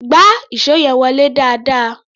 Gbá ìṣó yẹn wọlé dáadáa!